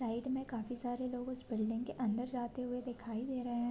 Side में काफी सारे लोग उस बिल्डिंग के अंदर जाते हुए दिखाई दे रहे है।